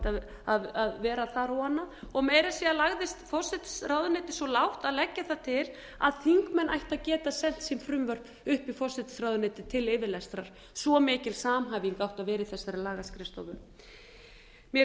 skrifstofa ætti að vera þar og annað meira að segja lagðist forsætisráðuneytið svo lágt að leggja það til að þingmenn ættu að geta sent sín frumvörp upp í forsætisráðuneytið til yfirlestrar svo mikil samhæfing átti að vera í þessari lagaskrifstofu mér